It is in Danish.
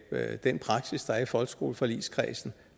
den praksis der er i folkeskoleforligskredsen